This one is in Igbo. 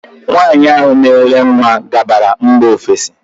Nwaanyị ahụ na ele nwa gabara mba ofesi.